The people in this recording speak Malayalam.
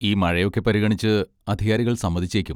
ഈ മഴയൊക്കെ പരിഗണിച്ച് അധികാരികൾ സമ്മതിച്ചേക്കും.